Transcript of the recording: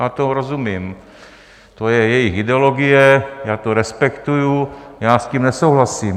Já tomu rozumím, to je jejich ideologie, já to respektuji, já s tím nesouhlasím.